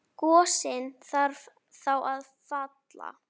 Gosinn þarf þá að falla.